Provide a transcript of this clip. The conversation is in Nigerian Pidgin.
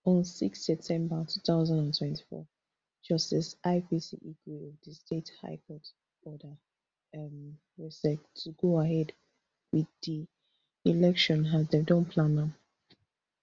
on six septermber two thousand and twenty-four justice ipc igwe of di state high court order um rsiec to go ahead wit di election as dem don plan am